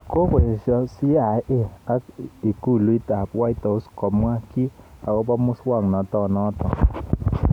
Kokoesyo CIA ak ikulut ab whitehouse komwo ki akobo musaknatenoto